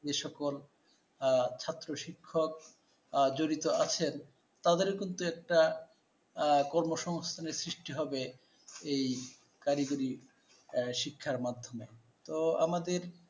সে সকল আহ ছাত্র শিক্ষক আহ জড়িত আছেন, তাদের কিন্তু একটা আহ কর্মসংস্থানের সৃষ্টি হবে এই কারিগরী আহ শিক্ষার মাধ্যমে তো আমাদের